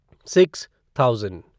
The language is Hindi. six thousand